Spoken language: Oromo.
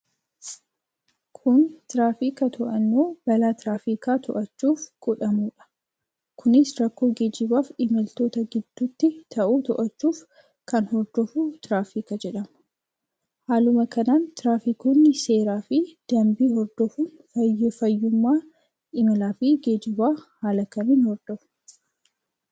Kun tiraafika to'annoo balaa tiraafika to'achuuf godhamudha. Kunis rakkoo geejibaf imaltoota gidduutti tahuu to'achuuf kan hordofuu tiraafika jedhama. Haaluma kanaan tiraafikoonni seera fi danbii hordofuun fayyummaa imala fi geejiba haala kamiin hordofu?